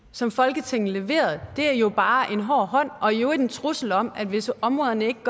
som folketinget leverede er jo bare en hård hånd og i øvrigt en trussel om at hvis områderne ikke